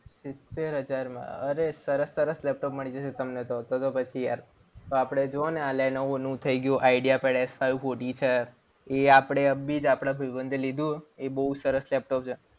સિત્તેર હજારમાં અરે સરસ સરસ લેપટોપ મળી જશે તમને તો તો પછી યાર. તો આપણે જુઓ અને આ લેનોવોનું થઈ ગયું એ આપણે અભી જ આપણા ભાઈબંધ લીધું એ બહુ સરસ લેપટોપ છે.